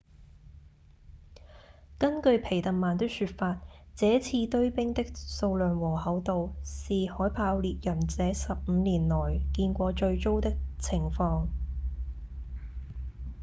根據皮特曼的說法這次堆冰的數量和厚度是海豹獵人這十五年來見過最糟的情況